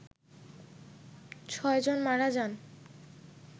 ছয় জন মারা যান